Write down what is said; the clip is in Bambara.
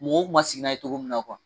Mɔgɔw ma sigi n'a ye cogo min na